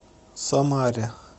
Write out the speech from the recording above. самаре